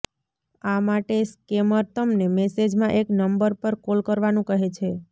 આ માટે સ્કેમર તમને મેસેજમાં એક નંબર પર કોલ કરવાનું કહે છે